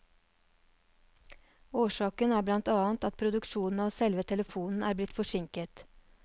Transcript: Årsaken er blant annet at produksjonen av selve telefonen er blitt forsinket.